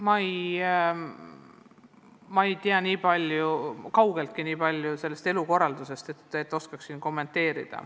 Kahjuks ma ei tea kuulmispuudega inimeste elukorraldusest nii palju, et oskaksin seda siin kommenteerida.